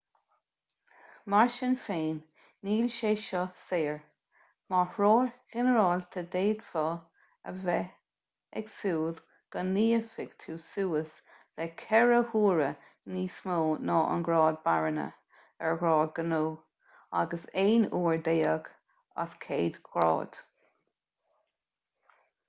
mar sin féin níl sé seo saor mar threoir ghinearálta d'fhéadfá a bheith ag súil go n-íocfaidh tú suas le ceithre huaire níos mó ná an grád barainne ar ghrád gnó agus aon uair déag as céad ghrád